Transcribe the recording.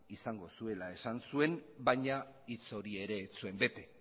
izango zuela esan zuen baina hitz hori ere ez zuen bete